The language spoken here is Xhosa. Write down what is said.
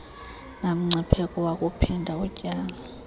namngcipheko wakuphinda utyale